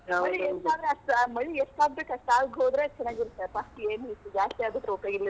ಮಳಿ ಎಷ್ಟ ಆಗ್ಬೇಕ್ ಅಷ್ಟ್ ಆಗ್ ಹೋದ್ರೆ ಚನ್ನಾಗಿರುತಪಾ.